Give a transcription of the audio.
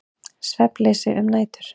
Svefnleysi um nætur.